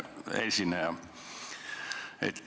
Hea esineja!